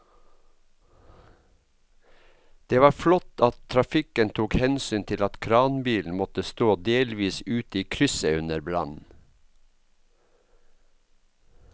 Det var flott at trafikken tok hensyn til at kranbilen måtte stå delvis ute i krysset under brannen.